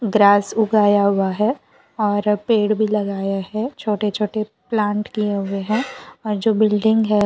grass उगाया हुआ है और पेड़ भी लगाया है छोटे छोटे प्लांट किए हुए हैं और जो बिल्डिंग है --